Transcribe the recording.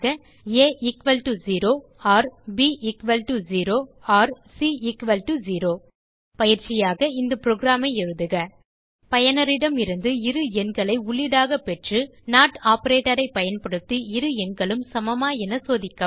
ஆ 0 || ப் 0 || சி 0 பயிற்சியாக இந்த புரோகிராம் ஐ எழுதுக பயனரிடமிருந்து இரு எண்களை உள்ளீடாக பெற்று நோட் ஆப்பரேட்டர் ஐ பயன்படுத்தி இரு எண்களும் சமமா என சோதிக்கவும்